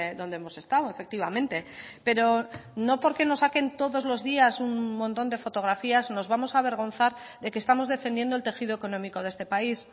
dónde hemos estado efectivamente pero no porque nos saquen todos los días un montón de fotografías nos vamos a avergonzar de que estamos defendiendo el tejido económico de este país